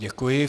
Děkuji.